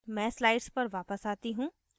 मैं slides पर वापस आती हूँ